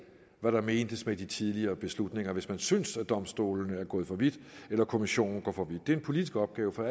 hvad der mentes med de tidligere beslutninger hvis man synes at domstolene er gået for vidt eller at kommissionen går for vidt det er en politisk opgave for